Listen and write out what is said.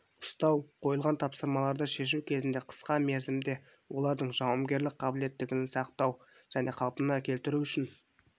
ұстау қойылған тапсырмаларды шешу кезінде қысқа мерзімде олардың жауынгерлік қабілеттілігін сақтау және қалпына келтіру үшін